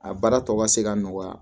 A baara tɔ ka se ka nɔgɔya